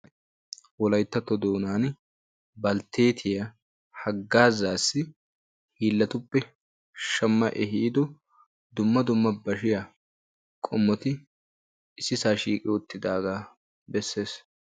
Wolayttatto doonan balteettiyaa haggazassi hiillatuppe shamma ehiido dumma dumma bashshiyaa qomoti issisaa shiiqi uttidaga bessees.